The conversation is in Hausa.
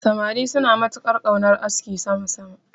Samari suna matuƙar ƙaunar askin sama sama.